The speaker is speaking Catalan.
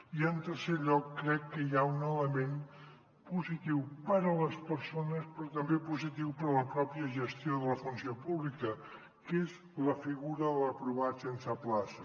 i en tercer lloc crec que hi ha un element positiu per a les persones però també positiu per a la pròpia gestió de la funció pública que és la figura de l’aprovat sense plaça